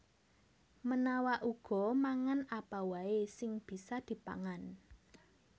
Menawa uga mangan apa waè sing bisa dipangan